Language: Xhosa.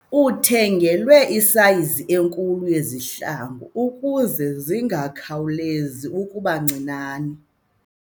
Uthengelwe isayizi enkulu yezihlangu ukuze zingakhawulezi ukuba ncinane.